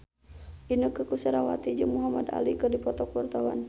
Inneke Koesherawati jeung Muhamad Ali keur dipoto ku wartawan